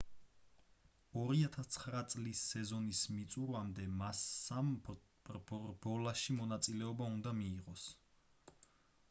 2009 წლის სეზონის მიწურვამდე მასსამ რბოლაში მონაწილეობა უნდა მიიღოს